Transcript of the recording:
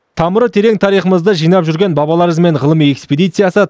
тамыры терең тарихымызды жинап жүрген бабалар ізімен ғылыми экспедициясы